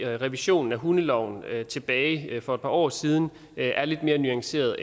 at revisionen af hundeloven tilbage for et par år siden er lidt mere nuanceret